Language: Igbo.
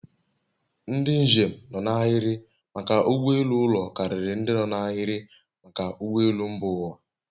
Ndị njem nọ n'ahịrị maka ụgbọ elu ụlọ karịrị ndị no n'ahiri maka ụgbọ elu mba ụwa